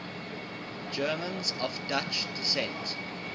germans of dutch descent